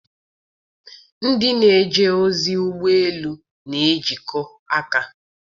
Ndị na-eje ozi ụgbọ elu na-ejikọ aka.